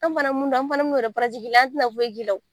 An fana mun dɔn an fana mi n'o de i la an ti na foyi kɛ o;